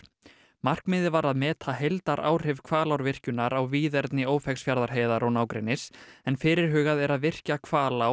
markmiðið var að meta heildaráhrif Hvalárvirkjunar á víðerni Ófeigsfjarðarheiðar og nágrennis en fyrirhugað er að virkja Hvalá